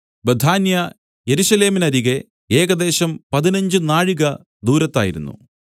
ബേഥാന്യ യെരൂശലേമിനരികെ ഏകദേശം പതിനഞ്ച് നാഴിക ദൂരത്തായിരുന്നു